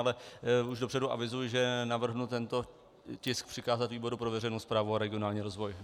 Ale už dopředu avizuji, že navrhnu tento tisk přikázat výboru pro veřejnou správu a regionální rozvoj.